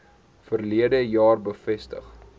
verlede jaar bevestig